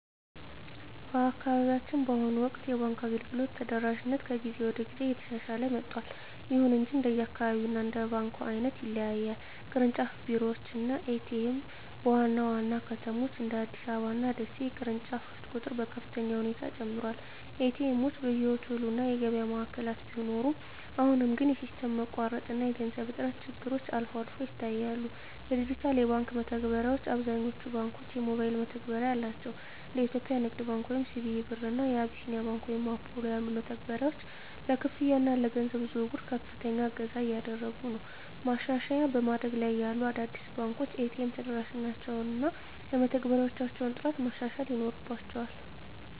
በአካባቢያችን በአሁኑ ወቅት የባንክ አገልግሎት ተደራሽነት ከጊዜ ወደ ጊዜ እየተሻሻለ መጥቷል። ይሁን እንጂ እንደየአካባቢው እና እንደ ባንኩ ዓይነት ይለያያል። ቅርንጫፍ ቢሮዎች እና ኤ.ቲ.ኤም (ATM): በዋና ዋና ከተሞች (እንደ አዲስ አበባ እና ደሴ) የቅርንጫፎች ቁጥር በከፍተኛ ሁኔታ ጨምሯል። ኤ.ቲ. ኤምዎች በየሆቴሉ እና የገበያ ማዕከላት ቢኖሩም፣ አሁንም የሲስተም መቋረጥ እና የገንዘብ እጥረት ችግሮች አልፎ አልፎ ይታያሉ። ዲጂታል የባንክ መተግበሪያዎች: አብዛኞቹ ባንኮች የሞባይል መተግበሪያ አላቸው። እንደ የኢትዮጵያ ንግድ ባንክ (CBE Birr) እና አቢሲኒያ ባንክ (Apollo) ያሉ መተግበሪያዎች ለክፍያ እና ለገንዘብ ዝውውር ከፍተኛ እገዛ እያደረጉ ነው። ማሻሻያ በማደግ ላይ ያሉ አዳዲስ ባንኮች የኤ.ቲ.ኤም ተደራሽነታቸውን እና የመተግበሪያዎቻቸውን ጥራት ማሻሻል ይኖርባ